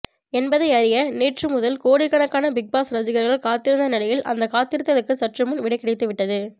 என்பதை அறிய நேற்று முதல் கோடிக்கணக்கான பிக்பாஸ் ரசிகர்கள் காத்திருந்த நிலையில் அந்த காத்திருத்தலுக்கு சற்றுமுன் விடை கிடைத்துவிட்டது